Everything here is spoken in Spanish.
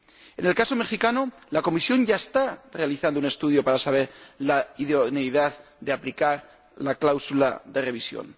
En el caso mexicano, la Comisión ya está realizando un estudio para examinar la idoneidad de aplicar la cláusula de revisión.